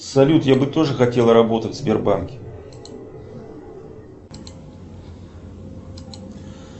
салют я бы тоже хотел работать в сбербанке